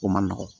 O man nɔgɔn